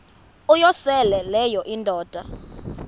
uyosele leyo indoda